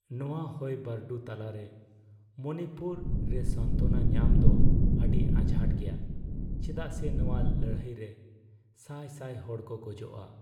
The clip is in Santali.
ᱱᱚᱣᱟ ᱦᱩᱭᱵᱷᱟᱨᱰᱩ ᱛᱟᱞᱟᱨᱮ ᱢᱚᱱᱤᱯᱩᱨ ᱨᱮᱥᱟᱱᱛᱚᱱᱟ ᱧᱟᱢ ᱫᱚ ᱟᱹᱰᱤ ᱟᱡᱷᱟᱴ ᱜᱮᱭᱟ, ᱪᱮᱫᱟᱜ ᱥᱮ ᱱᱚᱶᱟ ᱞᱟᱹᱲᱦᱟᱹᱭ ᱨᱮ ᱥᱟᱭ ᱥᱟᱭ ᱦᱚᱲ ᱠᱚ ᱜᱚᱡᱚᱜᱼᱟ ᱾